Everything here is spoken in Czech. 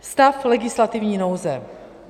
Stav legislativní nouze.